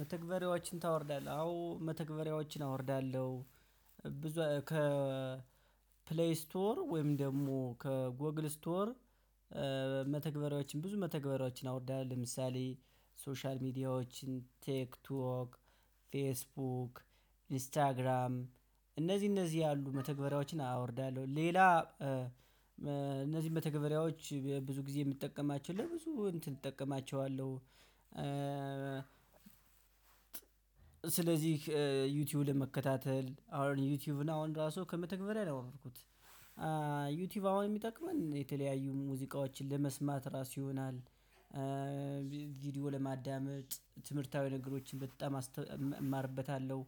መተግበሪያዎችን ታወርዳለህ አዎ መተግበሪያዎችን አወርዳለሁ። ብዙ ከ ፕሌይ ስቶር ወይም ደግሞ ከጎግል ስቶር። መተግበሪያዎችን ብዙ መተግበሪያዎችን አወርዳለሁ ለምሳሌ ሶሻል ሚዲያዎችን ቴክ ቶክ ፌስቡክ ኢንስታግራም እነዚህ እነዚህ ያሉ መተግበሪያዎችን አወርዳለሁ። ሌላ እነዚህ መተገበሪያዎች ብዙ ጊዜ ምትጠቀማቸው ለብዙ እንትን እጠቀማቸዋለሁ። ስለዚህ ዩቲዩብ ለመከታተል አውን ዩቲዩብ አሁን ራሱ ከመተግበር ነው ያወርኩት። ዩቲዩብ አሁን ሚጠቅመን የተለያዩ ሙዚቃዎችን ለመስማት ራስ ይሆናል። ለማዳመጥ ትምህርታዊ ነገሮችን በጣም አስተ እማርበታለው።